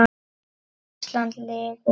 Ísland lifi.